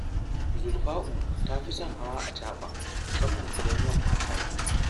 Zulfa’u ta fi son hawa acaɓa musamman idan yamma ta yi